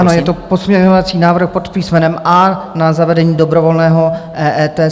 Ano, je to pozměňovací návrh pod písmenem A na zavedení dobrovolného EET.